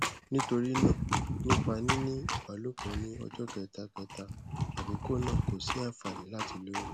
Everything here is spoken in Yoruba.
nítorí náà nípa níní ìbálòpọ ní ọjọ kẹta kẹta àkókò náà kò sí àfààní láti lóyún